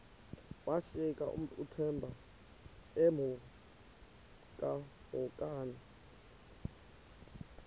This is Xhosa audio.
washiyeka uthemba emhokamhokana